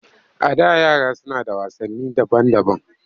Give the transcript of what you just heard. A da yara suna da wasanni daban-daban